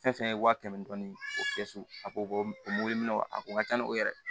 Fɛn fɛn ye wa kɛmɛ ni dɔɔnin o fiyɛ a ko ko mobili minɛw a ko ka ca ni o yɛrɛ ye